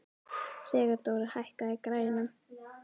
Sigurdóra, hækkaðu í græjunum.